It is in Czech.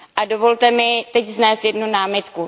Dovolte mi teď vznést jednu námitku.